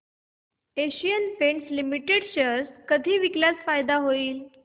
Asian Paints Limited चे share कधी विकल्यास फायदा होईल